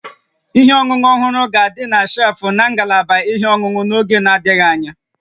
Ihe ọṅụṅụ ọhụrụ ga-adị na shelfụ́ na ngalaba ihe ọṅụṅụ n'oge na-adịghị anya